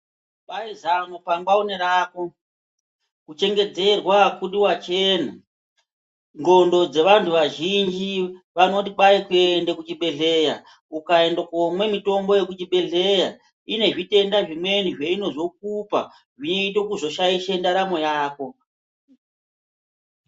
Kwai zano pangwa unerako kuchengedzerwa akudi wachena ndxondo dzevanhu vazhinji vanoti kwai kuende kuchibhedhlera ukaende komwa mutombo yekuchibhedhleya inezvitenda zvitenda zvimweni zveinozokupa zvinoite kuzoshaishe ndaramo yako.